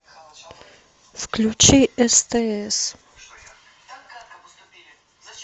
включи стс